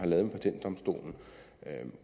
med patentdomstolen